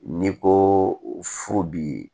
N'i ko furu bi